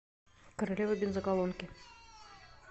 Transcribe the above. королева бензоколонки